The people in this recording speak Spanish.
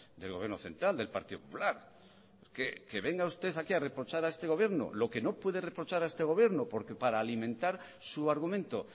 del gobierno central del partido popular que venga usted aquí a reprochar a este gobierno lo que no puede reprochar a este gobierno porque para alimentar su argumento